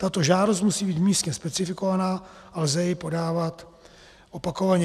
Tato žádost musí být místně specifikovaná a lze ji podávat opakovaně.